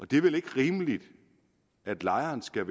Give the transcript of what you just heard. det er vel ikke rimeligt at lejeren skal